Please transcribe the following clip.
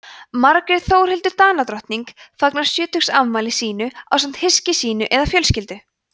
margrét þórhildur danadrottning fagnar sjötugsafmæli sínu ásamt hyski sínu eða fjölskyldu